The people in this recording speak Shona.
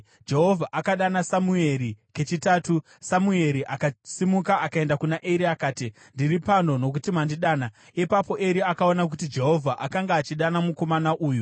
Jehovha akadana Samueri kechitatu, Samueri akasimuka akaenda kuna Eri akati, “Ndiri pano, nokuti mandidana.” Ipapo Eri akaona kuti Jehovha akanga achidana mukomana uyu.